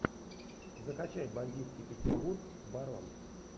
закачай бандитский петербург барон